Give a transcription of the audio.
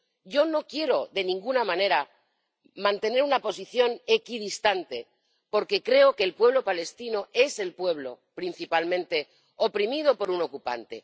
Yo no quiero, de ninguna manera, mantener una posición equidistante, porque creo que el pueblo palestino es el pueblo principalmente oprimido por un ocupante.